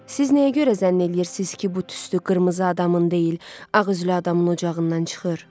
Siz nəyə görə zənn eləyirsiz ki, bu tüstü qırmızı adamın deyil, ağ üzlü adamın ocağından çıxır?